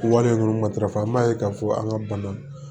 Wale ninnu matarafa an b'a ye k'a fɔ an ka bana